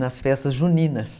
Nas festas juninas.